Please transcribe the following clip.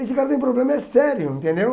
Esse cara tem problema, é sério, entendeu?